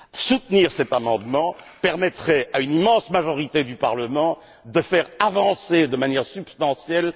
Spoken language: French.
Soutenir cet amendement permettrait à une immense majorité du Parlement de faire avancer de manière substantielle...